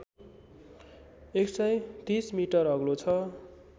१३० metre अग्लो छ